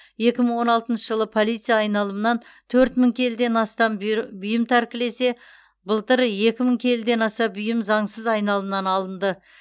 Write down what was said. екі мың он алтыншы жылы полиция айналымнан төрт мың келіден астам бұйры бұйым тәркілесе былтыр екі мың келіден аса бұйым заңсыз айналымнан алынды